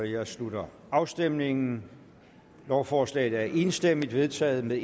jeg slutter afstemningen lovforslaget er enstemmigt vedtaget med